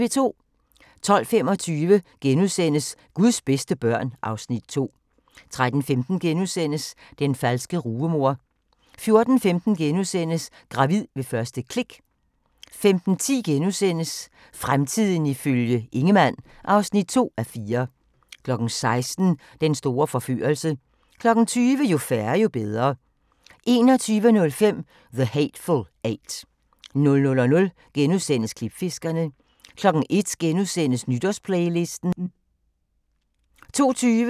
12:25: Guds bedste børn (Afs. 2)* 13:15: Den falske rugemor * 14:15: Gravid ved første klik * 15:10: Fremtiden ifølge Ingemann (2:4)* 16:00: Den store forførelse 20:00: Jo færre, jo bedre 21:05: The Hateful Eight 00:00: Klipfiskerne * 01:00: Nytårsplaylisten * 02:20: Krop umulig - tilbage til klinikken